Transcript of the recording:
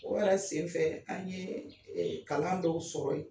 O yɛrɛ senfɛ an ye kalan dɔw sɔrɔ yen.